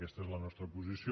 aquesta és la nostra posició